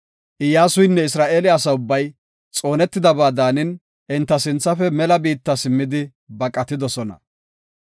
Iyyasuynne Isra7eele asa ubbay xoonetidaba daanidi, enta sinthafe mela biitta simmidi baqatidosona.